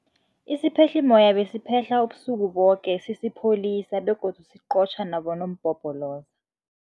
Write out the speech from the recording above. Isiphehlimmoya besiphehla ubusuku boke sisipholisa begodu siqotjha nabonompopoloza.